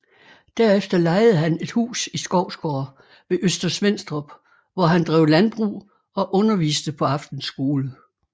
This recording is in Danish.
Derefter lejede han et hus i Skovsgård ved Øster Svenstrup hvor han drev landbrug og underviste på aftenskole